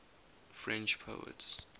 french poets